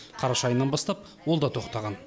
қараша айынан бастап ол да тоқтаған